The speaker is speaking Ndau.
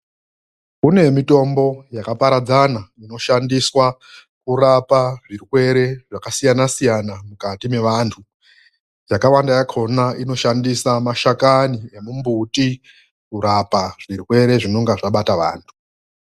KUNE MITOMBO YAKAPARADZANA INOSHANDISWA KURAPA ZVIRWERE ZVAKASIYANA-SIYANA MUKATI MEVANTU. YAKAWANDA YAHONA INOSHANDISA MASHAKANI EMUMBUTI KURAPA ZVIRWERE ZVINONGA ZVABATA VANTU.